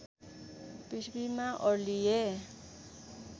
पृथ्वीमा ओर्लिए